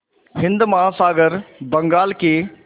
हिंद महासागर बंगाल की